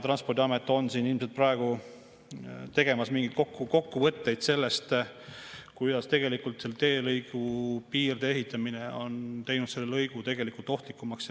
Transpordiamet on ilmselt praegu tegemas mingeid kokkuvõtteid sellest, kuidas selle teelõigu piirde ehitamine on teinud selle lõigu tegelikult ohtlikumaks.